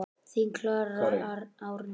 Þín Klara Árný.